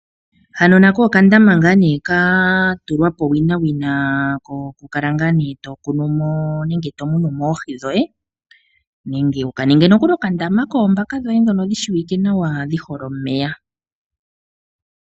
Hano nako oka ndama nga ne katulwapo owina wina ko kukala nga ne tokunumo nenge tomunumo oohii dhoye nenge wukaninge nokuli oka ndama koombaka dhoye dhono dhi shiwike nawa dhihole omeya.